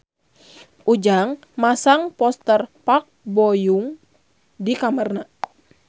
Ujang masang poster Park Bo Yung di kamarna